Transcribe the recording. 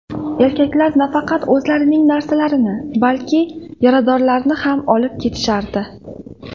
Erkaklar nafaqat o‘zlarining narsalarini, balki yaradorlarni ham olib ketishardi.